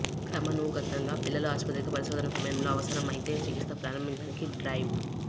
క్రమానుగతంగా పిల్లల ఆసుపత్రికి పరిశోధన సమయంలో అవసరమైతే చికిత్స ప్రారంభించడానికి డ్రైవ్